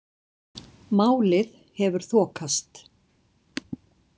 Málið hefur þokast.